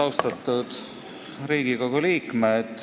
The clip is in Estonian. Austatud Riigikogu liikmed!